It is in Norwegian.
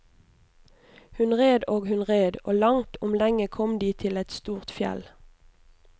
Hun red og hun red, og langt om lenge kom de til et stort fjell.